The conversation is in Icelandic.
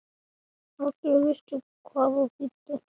Allir vissu hvað það þýddi.